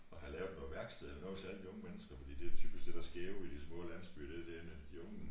Og have lave noget værksted eller noget til at alle de unge mennesker for det jo typisk det der sker jo i de små landsbyer det der med de unge